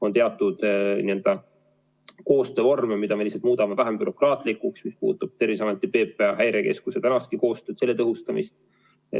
On teatud koostöövorme, mida me lihtsalt muudame vähem bürokraatlikuks – see puudutab Terviseameti, PPA ja Häirekeskuse tänastki koostööd, selle tõhustamist.